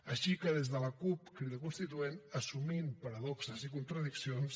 així que des de la cup crida constituent assumim paradoxes i contradiccions